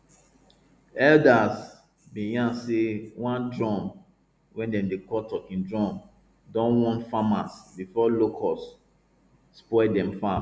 elders bin yan say one drum wey dem dey call talking drum don warn farmers before locusts spoil dem farm